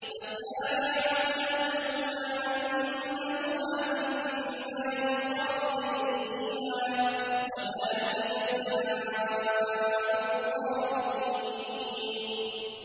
فَكَانَ عَاقِبَتَهُمَا أَنَّهُمَا فِي النَّارِ خَالِدَيْنِ فِيهَا ۚ وَذَٰلِكَ جَزَاءُ الظَّالِمِينَ